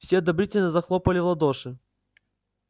все одобрительно захлопали в ладоши